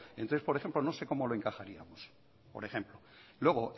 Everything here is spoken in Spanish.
entonces por ejemplo no sé cómo lo encajaríamos por ejemplo luego